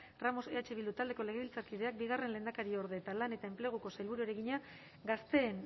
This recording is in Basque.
ramos eh bildu taldeko legebiltzarkideak bigarren lehendakariorde eta lan eta enpleguko sailburuari egina gazteen